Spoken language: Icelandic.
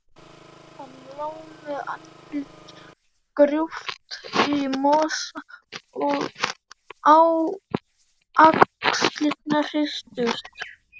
Hann lá með andlitið grúft í mosa og axlirnar hristust.